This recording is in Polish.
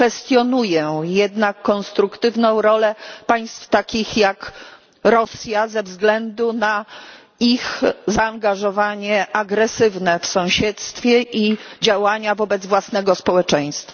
Kwestionuję jednak konstruktywną rolę państw takich jak Rosja ze względu na ich zaangażowanie agresywne w sąsiedztwie i działania wobec własnego społeczeństwa.